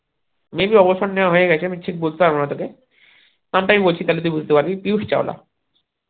maybe অবসর নেওয়া হয়েগেছে আমি ঠিক বলতে পারবো না তোকে নাম টা আমি বলছি তাহলে তুই বুঝতে পারবি পীযুষ চাওলা